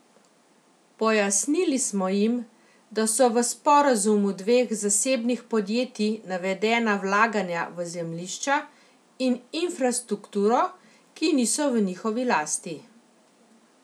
Pojasnili smo jim, da so v sporazumu dveh zasebnih podjetij navedena vlaganja v zemljišča in infrastrukturo, ki niso v njihovi lasti.